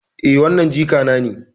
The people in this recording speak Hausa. Eh, wannan jikana ne.